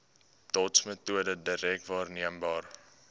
dotsmetode direk waarneembare